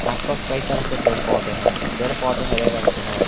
आस पास कई तरह के पेड़ पौधे हैं पेड़ पौधे हरे रंग के हैं।